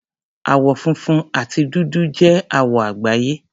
Àwọ̀ funfun àti dúdú jẹ́ àwọ̀ àgbáyé.